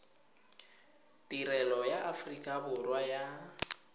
tirelo ya aforika borwa ya